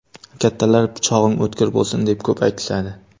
Kattalar pichog‘ing o‘tkir bo‘lsin, deb ko‘p aytishadi.